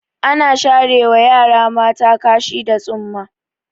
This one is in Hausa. Ana sharewa yara mata kashi da tsumma.